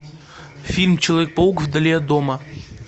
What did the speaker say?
фильм человек паук вдали от дома